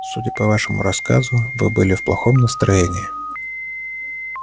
судя по вашему рассказу вы были в плохом настроении